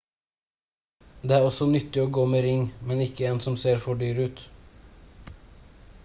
det er også nyttig å gå med ring men ikke en som ser for dyr ut